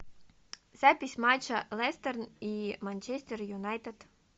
запись матча лестер и манчестер юнайтед